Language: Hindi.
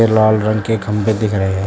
लाल रंग के खंभे दिख रहे हैं।